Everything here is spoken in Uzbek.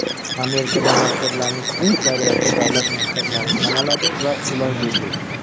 Amerikada maktablarning aksariyati davlat maktablari sanaladi va ular bepul.